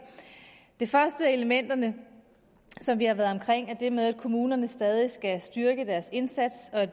det første af elementerne som vi har været omkring er det med at kommunerne stadig skal styrke deres indsats og